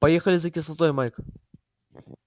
поехали за кислотой майк